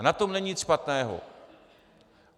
A na tom není nic špatného.